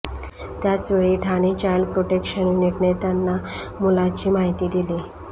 त्याचवेळी Thane child protection युनिटने त्यांना मुलाची माहिती दिली